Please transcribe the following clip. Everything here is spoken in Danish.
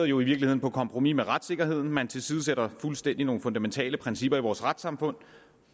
jo i virkeligheden på kompromis med retssikkerheden man tilsidesætter fuldstændig nogle fundamentale principper i vores retssamfund